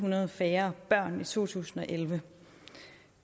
hundrede færre børn i to tusind og elleve